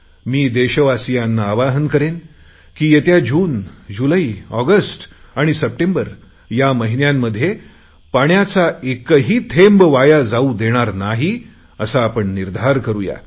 मी देशवासिंयाना आवाहन करेन की येत्या जून जुलै ऑगस्ट आणि सप्टेंबर या महिन्यांमध्ये पाण्याचा एकही थेंब वाया जाऊ देणार नाही असा आपण निर्धार करुया